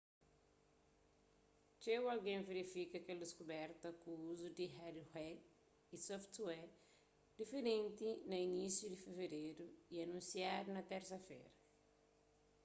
txeu algen verifika kel diskuberta ku uzu di hardware y software diferenti na inisiu di fevereru y anunsiadu na térsa-fera